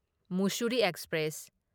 Mussoorie express